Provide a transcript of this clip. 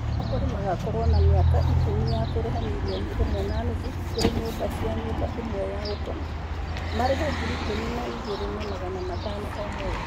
Akombori magakorwo na mĩaka ikũmi ya kũrĩha mirioni ĩmwe na nuthu kũri nyũmba cia nyũmba imwe ya gũkoma, marĩhe ngiri ikũmi na igĩrĩ na magana matano o mweri.